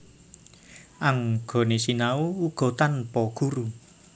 Anggone sinau uga tanpa guru